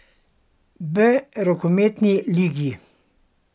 B rokometni ligi.